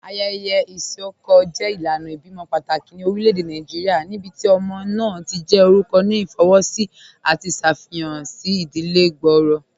Ayẹyẹ isọkọ jẹ ilànà ibẹ̀imọ̀ pátákì ní orílẹ̀-èdè Nàìjíríà níbíti ọmọ náà ti jẹ́ orúkọ̀ ní ifowósì àti ṣáfíhàn sí ìdílẹ̀ gbọ́ọ̀rọ̀.